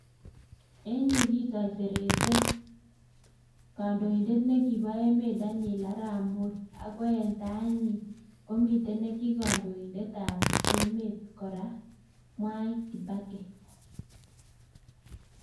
En yu kisoiserete kandoindet nekibo emet Daniel arap moi, akoi en tainyi komiten nekikondoindetab emet kora Mwai kibaki